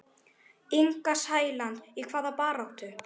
Inga Sæland: Í hvaða baráttu?